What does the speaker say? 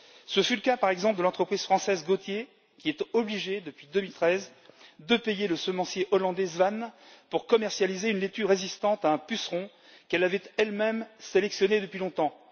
Ce fut le cas, par exemple, de l'entreprise française Gautier, qui est obligée, depuis 2013, de payer le semencier hollandais Zwaan pour commercialiser une laitue résistante à un puceron qu'elle avait elle même sélectionnée depuis longtemps.